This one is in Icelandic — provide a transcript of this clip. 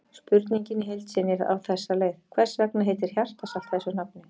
Spurningin í heild sinni er á þessa leið: Hvers vegna heitir hjartarsalt þessu nafni?